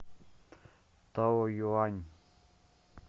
таоюань